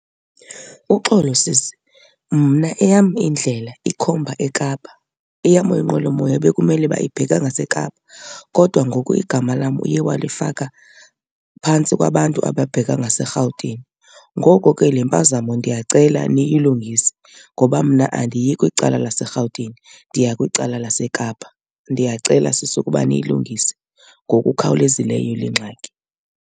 Uxolo sisi, mna eyam indlela ikhomba eKapa. Eyam inqwelomoya bekumele uba ibheka ngaseKapa kodwa ngoku igama lam uye walifaka phantsi kwabantu ababheka ngaseRhawutini. Ngoko ke le mpazamo ndiyacela niyilungise ngoba mna andiyi kwicala laseRhawutini, ndiya kwicala laseKapa. Ndiyacela sisi ukuba niyilungise ngokukhawulezileyo le ngxaki.